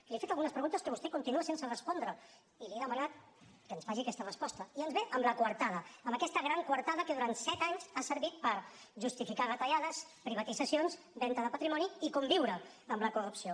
li he fet algunes preguntes que vostè continua sense respondre i li he demanat que ens faci aquesta resposta i ens ve amb la coartada amb aquesta gran coartada que durant set anys ha servit per justificar retallades privatitzacions venda de patrimoni i conviure amb la corrupció